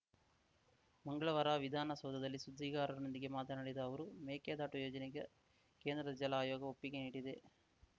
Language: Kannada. ಮಂಗಳವಾರ ವಿಧಾನಸೌಧದಲ್ಲಿ ಸುದ್ದಿಗಾರರೊಂದಿಗೆ ಮಾತನಾಡಿದ ಅವರು ಮೇಕೆದಾಟು ಯೋಜನೆಗೆ ಕೇಂದ್ರದ ಜಲ ಆಯೋಗ ಒಪ್ಪಿಗೆ ನೀಡಿದೆ